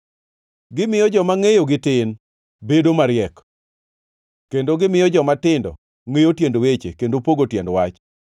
gimiyo joma ngʼeyogi tin bedo mariek, kendo gimiyo jomatindo ngʼeyo tiend weche kendo pogo tiend wach.